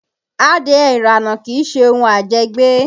Adìẹ ìrànà kìí ṣe ohun àjẹgbé